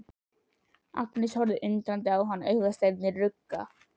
Agnes horfir undrandi á hann, augasteinarnir rugga.